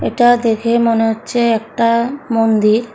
এটা দেখে মনে হচ্ছে একটা মন্দির।